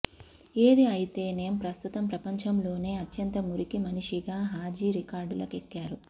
ఏది అయితేనేం ప్రస్తుతం ప్రపంచంలోనే అత్యంత మురికి మనిషిగా హాజీ రికార్డులకెక్కారు